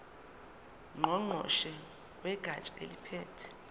ngqongqoshe wegatsha eliphethe